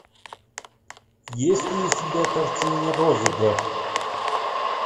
есть ли у тебя картина розыгрыш